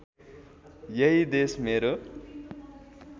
यही देश मेरो